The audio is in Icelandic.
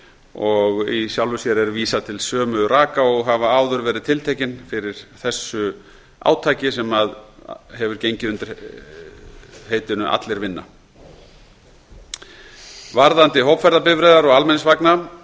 og í sjálfu sér er vísað til sömu raka og hafa áður verið tiltekin fyrir þessu átaki sem hefur gengið undir heitinu allir vinna um hópferðabifreiðar og almenningsvagna